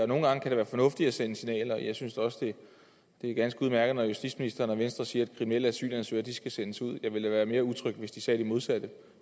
nogle gange kan det være fornuftigt at sende signaler og jeg synes da også det er ganske udmærket når justitsministeren og venstre siger at kriminelle asylansøgere skal sendes ud jeg ville da være mere utryg hvis de sagde det modsatte